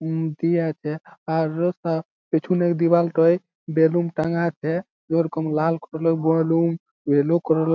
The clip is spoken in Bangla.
হুম দিয়া আছে আর রাস্তা পিছনের দিয়াল টোই বেলুন টাঙ্গা আছে যে রকম লাল কালার বেলুন ইয়েলো কালার এর--